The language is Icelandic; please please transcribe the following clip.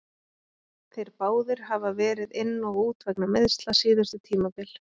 Þeir báðir hafa verið inn og út vegna meiðsla síðustu tímabil.